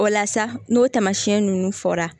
O la sa n'o taamasiyɛn ninnu fɔra